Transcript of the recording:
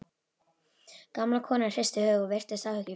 Gamla konan hristi höfuðið og virtist áhyggjufull.